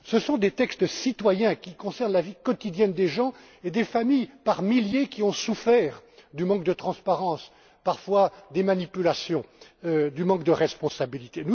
Feio. Tous ces textes citoyens concernent la vie quotidienne des gens et des familles qui, par milliers, ont souffert du manque de transparence, parfois de manipulations et du manque de responsabilité.